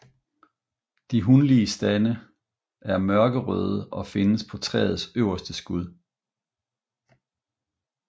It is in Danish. De hunlige stande er mørkerøde og findes på træets øverste skud